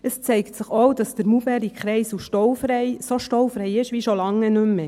Es zeigt sich auch, dass der Maulbeerkreisel so staufrei ist wie schon lange nicht mehr.